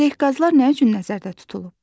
Ələqazlar nə üçün nəzərdə tutulub?